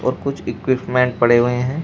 और कुछ इक्विपमेंट पड़े हुए हैं।